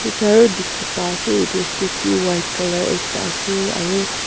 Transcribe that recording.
etu aro dikey pai ase etu statue white colour ekta ase aro.